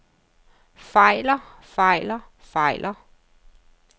fejler fejler fejler